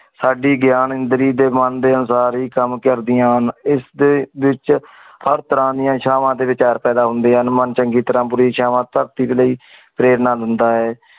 ਸਾਡੀ ਗਿਆਨ ਇੰਦਰੀ ਦੇ ਮਨ ਦੇ ਅਨੁਸਾਰ ਹੀ ਕਮ ਕਰਦਿਆਂ ਹਨ। ਇਸ ਦੇ ਵਿਚ ਹਰ ਤਰਹ ਦੀਆ ਇਛਾਵਾਂ ਤੇ ਵਿਚਾਰ ਪੈਦਾ ਹੋਂਦੇ ਹਨ ਮਨ ਚੰਗੀ ਤਰਾ ਬੁਰੀ ਧਰਤੀ ਦੇ ਲੈ ਪ੍ਰੇਰਣਾ ਦਿੰਦਾ ਹੈ।